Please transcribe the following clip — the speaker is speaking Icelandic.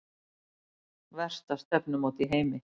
Versta stefnumót í heimi